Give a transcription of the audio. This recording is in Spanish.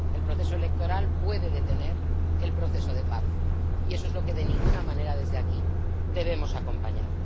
El proceso electoral puede detener el proceso de paz, y eso es lo que de ninguna manera desde aquí debemos acompañar.